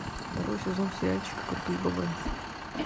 второй сезон сериальчика крутые бобры